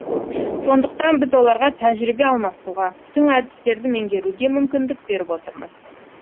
сондықтан біз оларға тәжірибе алмасуға тың әдістерді меңгеруге мүмкіндік беріп отырмыз